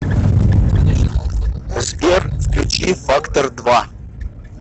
сбер включи фактор два